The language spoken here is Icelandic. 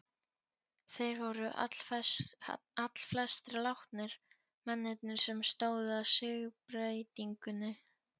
Þeir voru allflestir látnir, mennirnir sem stóðu að siðbreytingunni.